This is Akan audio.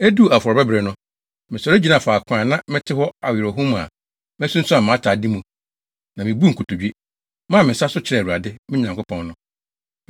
Eduu afɔrebɔbere no, mesɔre gyinaa faako a na mete hɔ awerɛhow mu a masunsuan mʼatade mu no, na mibuu nkotodwe, maa me nsa so kyerɛɛ Awurade, me Nyankopɔn no.